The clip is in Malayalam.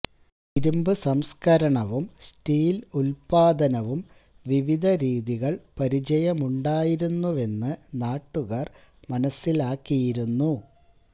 ഇരുമ്പു സംസ്കരണവും സ്റ്റീൽ ഉൽപാദനവും വിവിധ രീതികൾ പരിചയമുണ്ടായിരുന്നുവെന്ന് നാട്ടുകാർ മനസ്സിലാക്കിയിരുന്നു